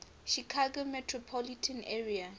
chicago metropolitan area